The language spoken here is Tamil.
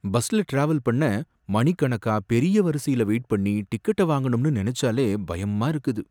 பஸ்ல டிராவல் பண்ண மணிக்கணக்கா பெரிய வரிசையில வெயிட்பண்ணி டிக்கெட்ட வாங்கணும்னு நெனச்சாலே பயமா இருக்குது.